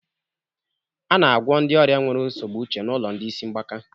A na-agwọ ndị ọrịa nwere nsogbu uche n'ụlọ ndị isi mgbaka